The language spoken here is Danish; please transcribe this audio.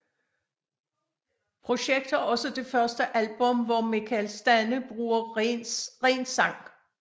Projector er også det første album hvor Mikael Stanne bruger renssang